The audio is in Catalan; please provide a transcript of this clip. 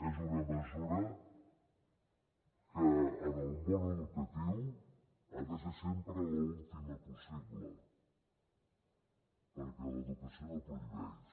és una mesura que en el món educatiu ha de ser sempre l’última possible perquè l’educació no prohibeix